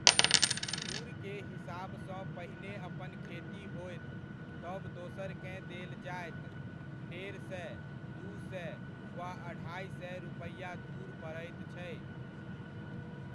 धूरके हिसाबसँ पहिने अपन खेती होयत तब दोसरकेँ देल जायत, डेढ़ सए, दू सए वा अढ़ाइ सए रुपैआ धूर पड़ैत छै।